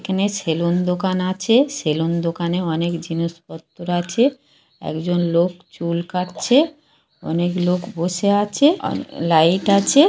এখেনে সেলুন দোকান আছে সেলুন দোকানে অনেক জিনিসপত্র আছে একজন লোক চুল কাটছে অনেক লোক বসে আছে লাইট আছে।